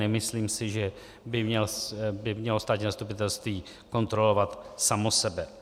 Nemyslím si, že by mělo státní zastupitelství kontrolovat samo sebe.